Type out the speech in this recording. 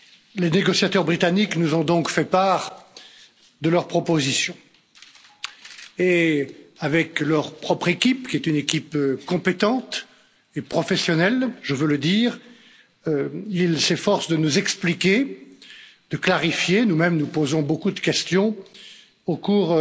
Les négociateurs britanniques nous ont donc fait part de leurs propositions et avec leur propre équipe, qui est une équipe compétente et professionnelle je veux le dire ils s'efforcent de nous expliquer, de clarifier nous mêmes, nous posons beaucoup de questions au cours